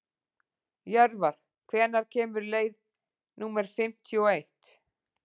Jörvar, hvenær kemur leið númer fimmtíu og eitt?